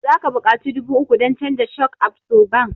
Za ka buƙaci dubu uku dan canja shok absoban